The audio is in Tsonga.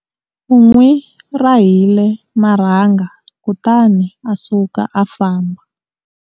U n'wi rahile marhanga kutani a suka a famba.